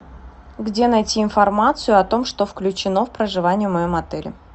где найти информацию о том что включено в проживание в моем отеле